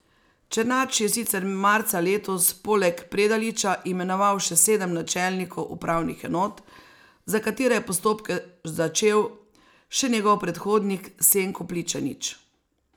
Černač je sicer marca letos poleg Predaliča imenoval še sedem načelnikov upravnih enot, za katere je postopke začel še njegov predhodnik Senko Pličanič.